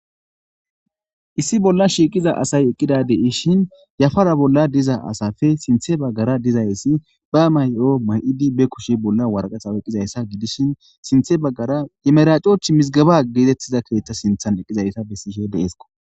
issi bolla shiiqiza asay eqqida deishin yafara bolla diza asafe sinthe baggara dizayssi ba may7o may7idi be kushe bolla warqaxaw eqqizayssa gidishin sinthe baggara emeracoch mizgaba geetettiza keethta sinthan eqqizayssa bessishe deesko